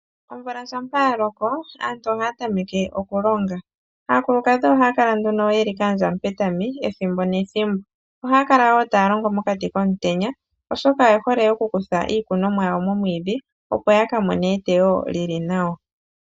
Omvula shampa yaloko aantu ohaya tameke okulonga. Aakulukadhi ohayakala nduno yeli kaandja mupetami ethimbo, nethimbo ohayakala taya longo mokati komutenya. oshoka oyehole okukuthamo iikunonomwa yawo momwiidhi opo yakamone eteyo lili nawa.